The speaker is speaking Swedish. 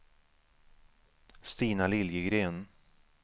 Stina Liljegren